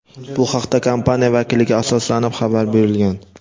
Bu haqda kompaniya vakiliga asoslanib xabar berilgan.